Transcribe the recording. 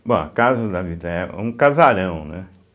Bom, a casa da Vila Ito é um casarão, né?